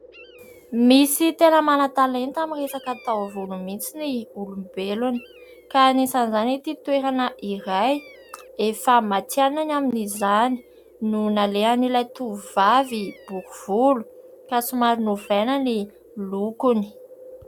Misy tena manan-talenta amin'ny resaka taovolo mihitsy ny olombelona ; ka anisan'izany ity toerana iray efa matianina amin'izany no nalehan'ilay tovovavy bory volo ka somary novaina ny lokony.